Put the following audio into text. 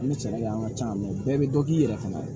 An bɛ cɛ an ka ca bɛɛ bɛ dɔ k'i yɛrɛ fana ye